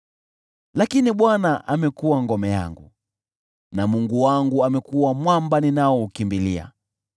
Lakini Bwana amekuwa ngome yangu, na Mungu wangu amekuwa mwamba ninaoukimbilia.